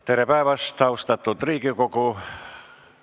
Tere päevast, austatud Riigikogu!